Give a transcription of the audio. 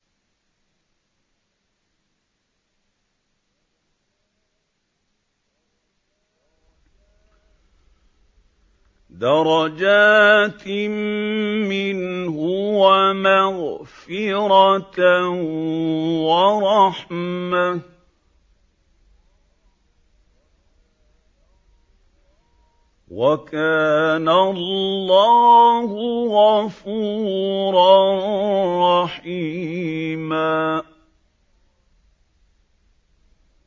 دَرَجَاتٍ مِّنْهُ وَمَغْفِرَةً وَرَحْمَةً ۚ وَكَانَ اللَّهُ غَفُورًا رَّحِيمًا